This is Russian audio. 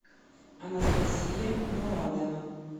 анастасия мурадова